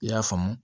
I y'a faamu